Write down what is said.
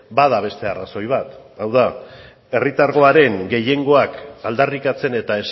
bada beste arrazoi bat hau da herritargoaren gehiengoak aldarrikatzen eta